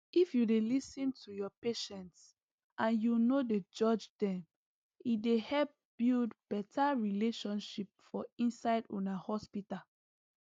if u dey lis ten to ur patients and u nor judge dem e dey help build better relationship for inside una hospital